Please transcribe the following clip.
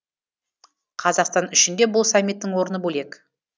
қазақстан үшін де бұл саммиттің орны бөлек